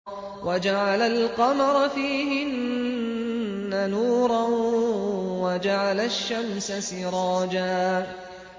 وَجَعَلَ الْقَمَرَ فِيهِنَّ نُورًا وَجَعَلَ الشَّمْسَ سِرَاجًا